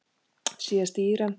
Síðast í Íran.